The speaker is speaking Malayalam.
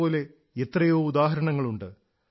ഇതുപോലെ എത്രയോ ഉദാഹരണങ്ങളുണ്ട്